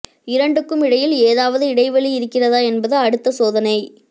இரண்டுக்கும் இடையில் ஏதாவது இடைவெளி இருக்கிறதா என்பது அடுத்த சோதனை